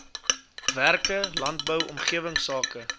werke landbou omgewingsake